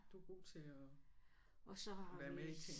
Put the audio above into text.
Du er god til at være med i ting